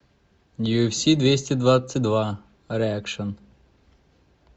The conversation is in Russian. юэфси двести двадцать два реакшн